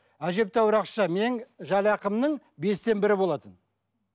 әжептәуір ақша менің жалақымның бестен бірі болатын